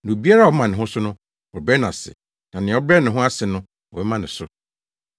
Na obiara a ɔma ne ho so no, wɔbɛbrɛ no ase, na nea ɔbrɛ ne ho ase no, wɔbɛma no so.”